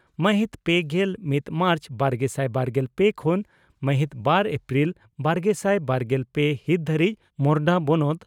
ᱢᱟᱦᱤᱛ ᱯᱮᱜᱮᱞ ᱢᱤᱛ ᱢᱟᱨᱪ ᱵᱟᱨᱜᱮᱥᱟᱭ ᱵᱟᱨᱜᱮᱞ ᱯᱮ ᱠᱷᱚᱱ ᱢᱟᱦᱤᱛ ᱵᱟᱨ ᱮᱯᱨᱤᱞ ᱵᱟᱨᱜᱮᱥᱟᱭ ᱵᱟᱨᱜᱮᱞ ᱯᱮ ᱦᱤᱛ ᱫᱷᱟᱹᱨᱤᱡ ᱢᱳᱨᱚᱰᱟ ᱵᱚᱱᱚᱛ